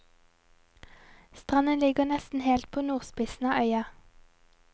Stranden ligger nesten helt på nordspissen av øya.